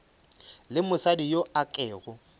le mosadi yo a kego